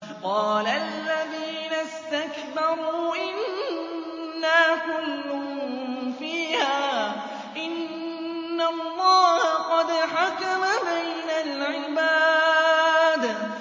قَالَ الَّذِينَ اسْتَكْبَرُوا إِنَّا كُلٌّ فِيهَا إِنَّ اللَّهَ قَدْ حَكَمَ بَيْنَ الْعِبَادِ